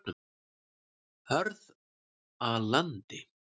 Hörðalandi